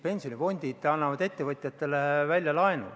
Pensionifondid annavad ettevõtjatele laenu.